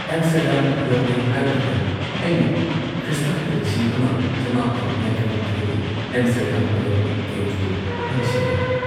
Amsterdam ꯌꯧꯔꯦ ꯍꯥꯏꯕꯗꯨꯗ ꯑꯩꯅ ꯈ꯭ꯔꯤꯁꯇꯥꯕꯇ ꯂꯤꯁꯤꯡ ꯑꯃ ꯆꯃꯥꯄꯟ ꯌꯥꯡꯈꯩꯅꯤꯊꯣꯏꯒꯤ ꯑꯦꯝꯁꯇꯔꯗꯥꯝ ꯑꯣꯂꯦꯝꯄꯤꯛ ꯒꯦꯝꯁꯄꯨ ꯅꯤꯡꯁꯤꯡꯢ꯫